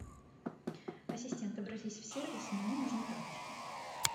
ассистент обратись в сервис мне нужны тапочки